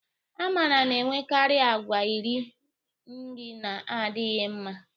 Amara na-enwekarị àgwà iri nri na-adịghị mma.